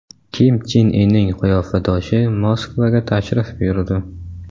Kim Chen Inning qiyofadoshi Moskvaga tashrif buyurdi .